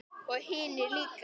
Og hinir líka.